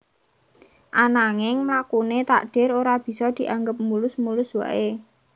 Ananging mlakuné takdir ora bisa dianggep mulus mulus wae